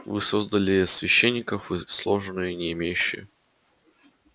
вы создали иерархию священников и сложные не имеющие